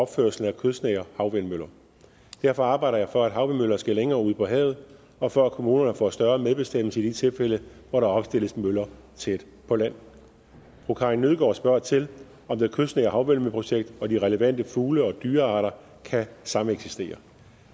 opførelsen af kystnære havvindmøller derfor arbejder jeg for at havvindmøller skal længere ud på havet og for at kommunerne får større medbestemmelse i de tilfælde hvor der opstilles møller tæt på land fru karin nødgaard spørger til om det kystnære havvindmølleprojekt og de relevante fugle og dyrearter kan sameksistere